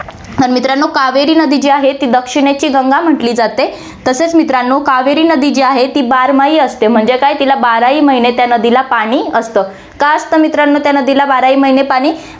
तर मित्रांनो, कावेरी नदी जी आहे, ती दक्षिणेची गंगा म्हंटली जाते, तसेच मित्रांनो, कावेरी नदी जी आहे, ती बारमाही असते म्हणजे काय तिला बाराही महीने त्या नदीला पाणी असतं, का असतं मित्रांनो त्या नदीला बाराही महीने पाणी